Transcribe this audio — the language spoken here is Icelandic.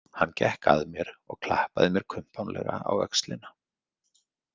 Hann gekk að mér og klappaði mér kumpánlega á öxlina.